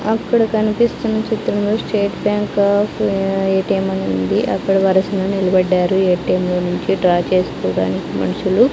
అక్కడ కనిపిస్తున్న చిత్రంలో స్టేట్ బ్యాంక్ ఆఫ్ ఎ_టి_ఎం అని ఉంది అక్కడ వరుసలో నిలబడ్డారు ఏ_టీ_ఎం లో నుంచి డ్రా చేసుకోవడానికి మనుషులు.